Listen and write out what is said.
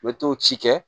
U bɛ t'o ci kɛ